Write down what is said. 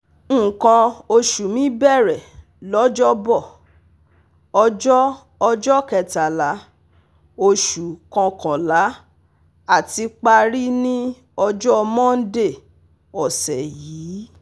nkan osu mi bẹ̀rẹ̀ lọ́jọ́bọ̀, ọjọ́ ọjọ́ kẹtàlá Oṣù Kọ̀kànlá àti parí ní ọjọ́ Mọ́ndé ọ̀sẹ̀ yìí